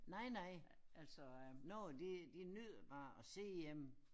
Nej nej nogen de de nyder bare at sidde hjemme